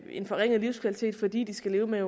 en forringet livskvalitet fordi de skal leve med